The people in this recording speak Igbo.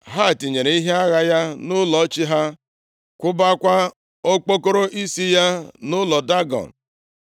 Ha tinyere ihe agha ya nʼụlọ chi ha, kwụbakwa okpokoro isi ya nʼụlọ Dagọn.